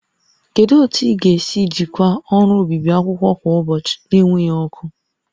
Kedu otu ị ga-esi ejikwa ọrụ obibi akwụkwọ kwa ụbọchị na-enweghị ọkụ?